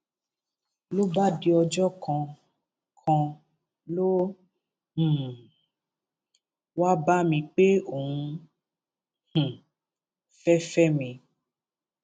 ló bá di ọjọ kan kan ló um wáá bá mi pé òun um fẹẹ fẹ mi